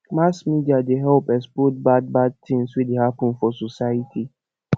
mass media dey help expose bad bad tins wey dey happen for society